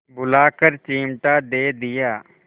बुलाकर चिमटा दे दिया